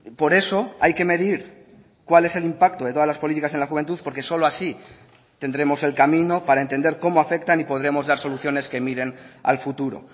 por eso hay que medir cuál es el impacto de todas las políticas en la juventud porque solo así tendremos el camino para entender cómo afectan y podremos dar soluciones que miren al futuro